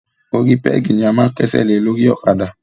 Orí pẹ́gì ni a máa ń kẹ́sẹ̀ lé lórí ọ̀kadà.